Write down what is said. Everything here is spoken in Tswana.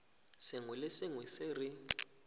sengwe le sengwe se re